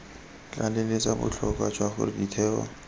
tlaleletsa botlhokwa jwa gore ditheo